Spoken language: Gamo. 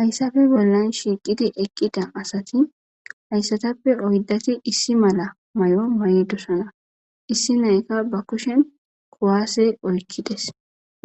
Hayssafe bollan shiiqidi eqqida asati hayssatappe oydati issi mala may'o may dosana issi nayka ba kushen kowaase oykkides